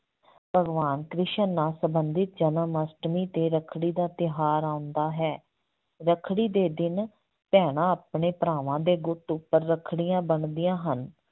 ਭਗਵਾਨ ਕ੍ਰਿਸ਼ਨ ਨਾਲ ਸੰਬੰਧਿਤ ਜਨਮਅਸ਼ਟਮੀ ਤੇ ਰੱਖੜੀ ਦਾ ਤਿਉਹਾਰ ਆਉਂਦਾ ਹੈ, ਰੱਖੜੀ ਦੇ ਦਿਨ ਭੈਣਾਂ ਆਪਣੇ ਭਰਾਵਾਂ ਦੇ ਗੁੱਟ ਉੱਪਰ ਰੱਖੜੀਆਂ ਬੰਨਦੀਆਂ ਹਨ।